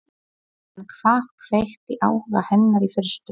En hvað kveikti áhuga hennar í fyrstu?